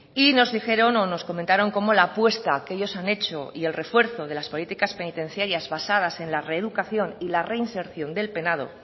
y nos dijeron o nos comentaron cómo la apuesta que ellos han hecho y el refuerzo de las políticas penitenciarias basadas en la reeducación y la reinserción del penado